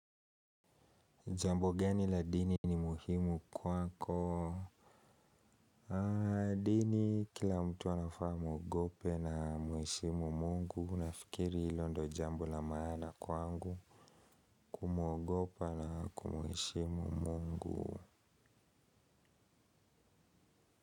Jambo geni la dini ni muhimu kwako. Dini kila mtu anafaa amwogope na muheshimu mungu. Unafikiri ilo ndo jambo la maana kwangu. Kumwogopa na kumuheshimu mungu.